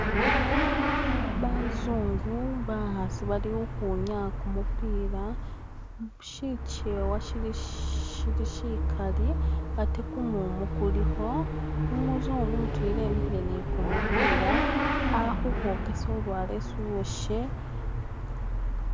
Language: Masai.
Bazungu bakhaasi bali ukhwinyaya kumupiila, shikyewa shili shikali ate kumumu kulikho, umuzungu mutwela emikhile ne kumupiila ali khukhwokesa ulwala esi uwoshe.